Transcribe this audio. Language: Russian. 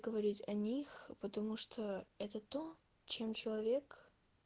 говорить о них потому что это то чем человек